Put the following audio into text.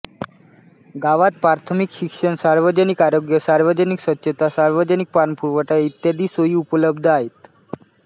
गावात प्राथमिक शिक्षण सार्वजनिक आरोग्य सार्वजनिक स्वच्छता सार्वजनिक पाणीपुरवठा इत्यादी सोयी उपलब्ध आहेत